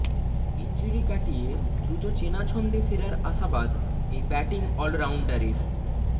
injury কাটিয়ে দ্রুত চেনা ছন্দে ফেরার আশাবাদ এই ব্যাটিং অলরাউন্ডারের